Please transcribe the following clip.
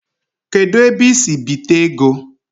Kedu ebe I si bite ego?